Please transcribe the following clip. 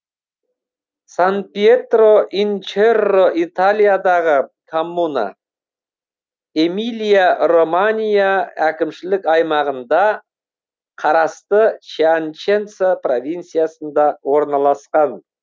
сан пьетро ин черро италиядағы коммуна эмилия романья әкімшілік аймағында қарасты пьяченца провинциясында орналасқан